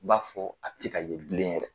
I b'a fɔ a te ka ye bilen yɛrɛ.